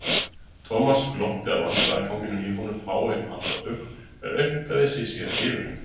Thomas glotti að vandræðaganginum í honum fáein andartök en aumkaði sig síðan yfir hann.